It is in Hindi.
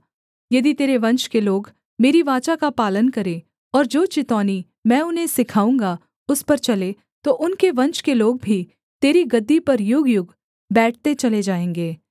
यदि तेरे वंश के लोग मेरी वाचा का पालन करें और जो चितौनी मैं उन्हें सिखाऊँगा उस पर चलें तो उनके वंश के लोग भी तेरी गद्दी पर युगयुग बैठते चले जाएँगे